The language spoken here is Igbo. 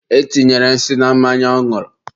e tinyere nsị na mmanya ọ ñụrụ.